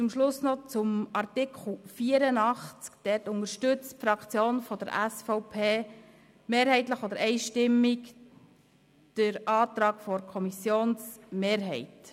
Zu Artikel 84: Die SVP-Fraktion unterstützt mehrheitlich oder einstimmig den Antrag der Kommissionsmehrheit.